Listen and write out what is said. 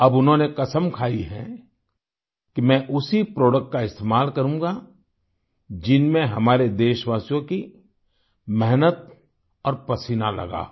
अब उन्होंने कसम खाई है कि मैं उसी प्रोडक्ट का इस्तेमाल करूंगा जिनमें हमारे देशवासियों की मेहनत और पसीना लगा हो